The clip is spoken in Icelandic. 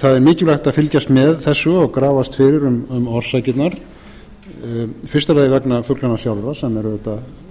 það er mikilvægt að fylgjast með þessu og grafast fyrir um orsakirnar í fyrsta lagi vegna fuglanna sjálfra sem eru auðvitað